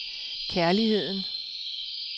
kærligheden